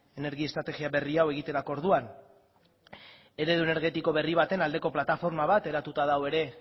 energia estrategia berri hau egiterako orduan eredu energetiko berri baten aldeko plataforma bat eratuta dago